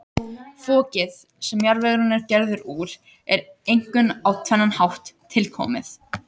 Fokið, sem jarðvegurinn er gerður úr, er einkum á tvennan hátt tilkomið.